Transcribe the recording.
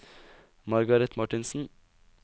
Margaret Marthinsen